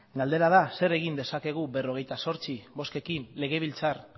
galdera da zer egin dezakegu berrogeita zortzi bozkekin legebiltzar